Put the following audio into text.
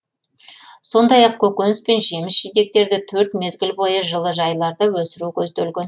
сондай ақ көкөніс пен жеміс жидектерді төрт мезгіл бойы жылыжайларда өсіру көзделген